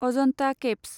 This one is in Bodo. अजन्ता केइभ्स